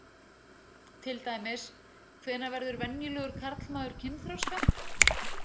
Til dæmis: Hvenær verður venjulegur karlmaður kynþroska?